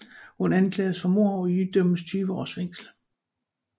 Hun anklages for mord og idømmes tyve års fængsel